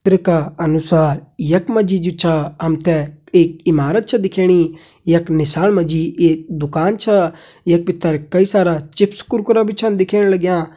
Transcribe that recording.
चित्र का अनुसार यख मा जी जु छा हम ते एक इमारत छ दिखेणी यख नीसाण मा जी एक दुकान छा यख भितर कई सारा चिप्स कुरकुरा भी छन दिखेण लग्यां।